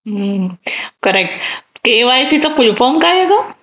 हम्म.. correct KYC चा full form काय ग?